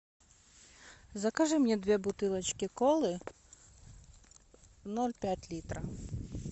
закажи мне две бутылочки колы ноль пять литра